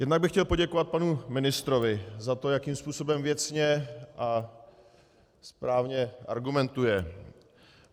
Jednak bych chtěl poděkovat panu ministrovi za to, jakým způsobem věcně a správně argumentuje.